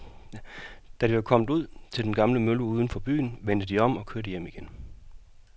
Da de var kommet ud til den gamle mølle uden for byen, vendte de om og kørte hjem igen.